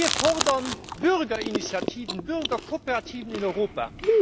Wir fordern Bürgerinitiativen, Bürgerkooperativen in Europa.